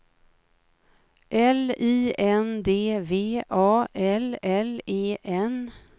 L I N D V A L L E N